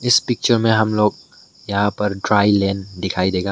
इस पिक्चर में हम लोग यहां पर ड्राई लेन दिखाई देगा।